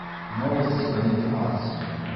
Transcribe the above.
новости с планеты марс